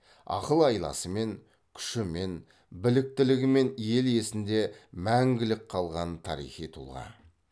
ақыл айласымен күшімен біліктілігімен ел есінде мәңгілік қалған тарихи тұлға